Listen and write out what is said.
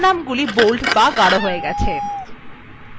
শিরোনামগুলি bold হয়ে গেছে